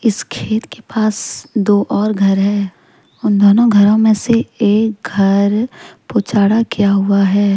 इस खेत के पास दो और घर हैं उन दोनों घरों में से एक घर पूछाड़ा किया हुआ है।